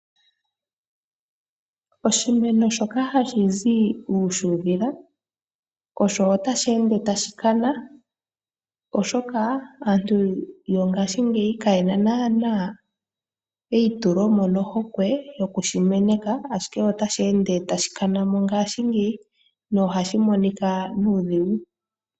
Oshimeno shoka hashi zi uufudhila otashi ende tashi kana, oshoka aantu yongashingeyi kaye na naanaa eitule mo nohokwe yokushi meneka, onkene otashi ende tashi kana mo ngaashingeyi nohashi monika nuudhigu.